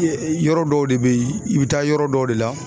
Yɔrɔ dɔw de bɛ ye i bɛ taa yɔrɔ dɔw de la.